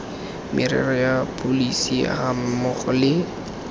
merero ya pholesi gammogo le